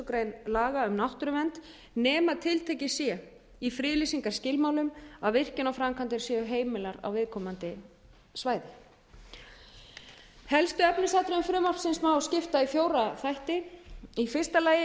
grein laga um náttúruvernd nema tiltekið sé í friðlýsingarskilmálum að virkjanaframkvæmdir séu heimilar á viðkomandi svæði helstu efnisatriðum frumvarpsins má skipta í fjóra þætti í fyrsta lagi er